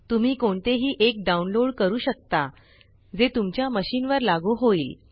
तुम्ही कोणतेही एक डाउनलोड करू शकता जे तुमच्या मशीन वर लागू होईल